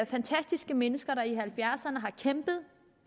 fantastiske mennesker der i nitten halvfjerdserne kæmpede